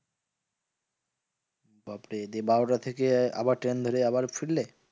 বাপ্ রে দিয়ে বারোটা থেকে আবার ট্রেন ধরে আবার ফিরলে?